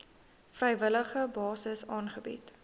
vrywillige basis aangebied